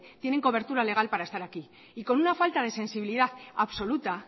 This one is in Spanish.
tienen cobertura legal para estar aquí y con una falta de sensibilidad absoluta